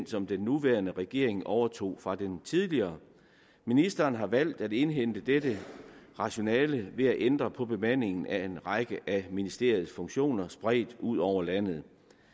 som den nuværende regering overtog fra den tidligere ministeren har valgt at indhente dette rationale ved at ændre på bemandingen af en række af ministeriets funktioner spredt ud over landet